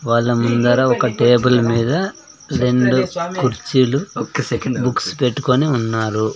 వాళ్ళ ముందర ఒక టేబుల్ మీద రెండు కుర్చీలు బుక్స్ పెట్టుకొని ఉన్నారు.